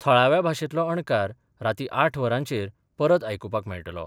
थळाव्या भाषेतलो अणकार राती आठ वरांचेर परत आयकुपाक मेळटलो.